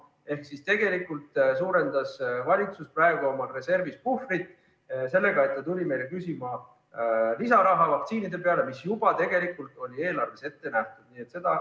Ehk siis tegelikult suurendas valitsus praegu oma reservis puhvrit sellega, et ta tuli meilt küsima vaktsiinide jaoks lisaraha, mis juba tegelikult on eelarves ette nähtud.